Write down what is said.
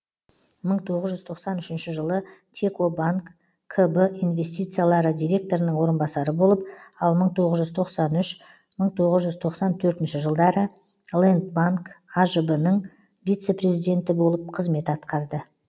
мың тоғыз жүз тоқсан үшінші жылы текобанк кб инвестициялары директорының орынбасары болып ал мың тоғыз жүз тоқсан үш мың тоғыз жүз тоқсан төртінші жылдары лэндбанк ажб нің вице президенті болып қызмет атқарды